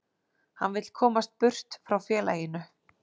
Hann vill komast burt frá félaginu.